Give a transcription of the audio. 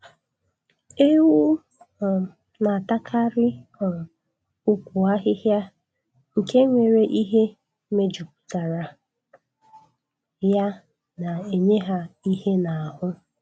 Ewu um na-atakarị um ukwu ahịhịa nke nwere ihe mejupụtara ya na-enye ha ihe n'ahụ